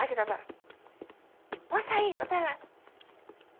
A que estava lá, passa aí, vai para lá.